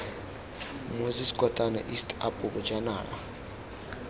moses kotane east apo bojanala